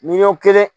Miliyɔn kelen